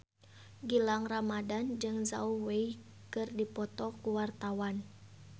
Gilang Ramadan jeung Zhao Wei keur dipoto ku wartawan